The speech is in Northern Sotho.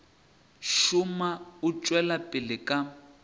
šoma o tšwela pele ka